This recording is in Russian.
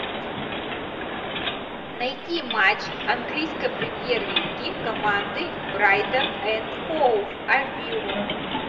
найти матч английской премьер лиги команды брайтон энд хоув альбион